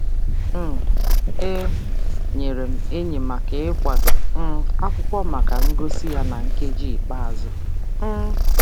um E nyeere m enyi maka ịkwado um akwụkwọ maka ngosi ya na nkeji ikpeazụ. um